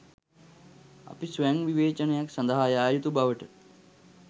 අපි ස්වයංවිවේචනයක් සඳහා යා යුතු බවට